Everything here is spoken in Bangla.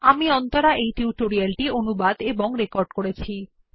আমি অন্তরা এই টিউটোরিয়াল টি অনুবাদ এবং রেকর্ড করেছি